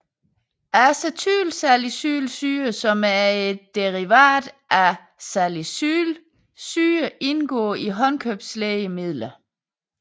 Acetylsalicylsyre som er et derivat af salicylsyre indgår i håndkøbslægemidler